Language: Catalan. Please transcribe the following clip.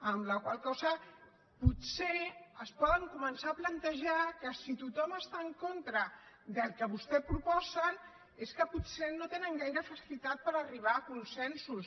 amb la qual cosa potser es poden començar a plantejar que si tothom està en contra del que vostès proposen és que potser no tenen gaire facilitat per arribar a consensos